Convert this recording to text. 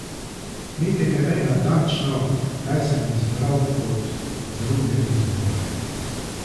Niti ne vem natančno, kaj sem izbral kot druge izbore.